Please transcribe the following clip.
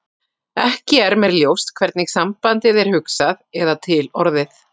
Ekki er mér ljóst hvernig sambandið er hugsað eða til orðið.